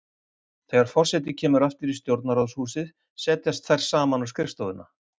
Þegar forseti kemur aftur í Stjórnarráðshúsið setjast þær saman á skrifstofuna.